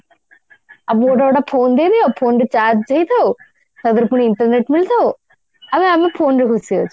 ଆମକୁ ଗୋଟା ଗୋଟା phone ଦେଇଦିଅ phone ରେ charge ହେଇଥାଉ ତା ଧିଅରେ ପୁଣି internet ମିଳିଥାଉ ଆମେ ଆମ phone ରେ ଖୁସି ଅଛୁ